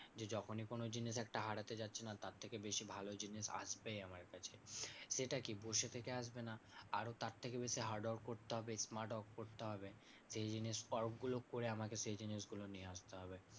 যে যখনি কোনো জিনিস একটা হারাতে যাচ্ছি না তার থেকে বেশি ভালো জিনিস আসবেই আমার কাছে। সেটা কি বসে থেকে আসবে না আরও তার থেকে বেশি hard work করতে হবে smart work করতে হবে। সেই জিনিস work গুলো করে আমাকে সেই জিনিসগুলো নিয়ে আসতে হবে।